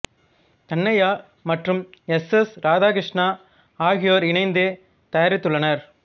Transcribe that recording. தன்னய்யா மற்றும் S S Radhakrishna ஆகியோர் இணைந்து தயாரித்துள்ளனர்